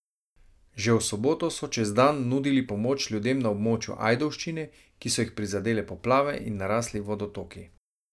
Že v soboto so čez dan nudili pomoč ljudem na območju Ajdovščine, ki so jih prizadele poplave in narasli vodotoki.